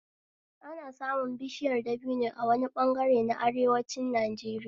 Ana samun bishiyar dabino a wani ɓangare na arewacin Najeriya